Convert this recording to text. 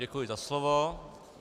Děkuji za slovo.